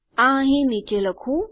આ અહીં નીચે લખું